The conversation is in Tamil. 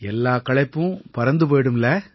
எல்லாக் களைப்பும் பறந்து போயிடும் இல்லை